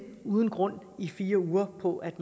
uden grund i fire uger på at